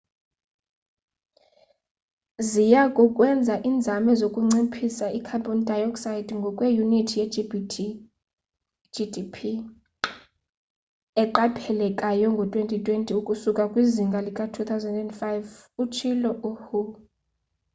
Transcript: ziyakukwenza inzame zokunciphisa i-carbon dioxide ngokwe unit ye-gdp eqaphelekayo ngo 2020 ukusuka kwizinga lika 2005 utshilo u-hu